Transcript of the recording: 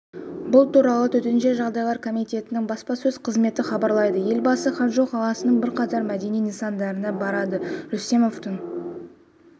бұл туралы төтенше жағдайлар комитетінің баспасөз қызметі хабарлайды елбасы ханчжоу қаласының бірқатар мәдени нысандарына барды рүстемовтің